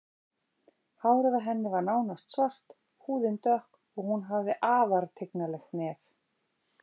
Hárið á henni var nánast svart, húðin dökk og hún hafði afar tignarlegt nef.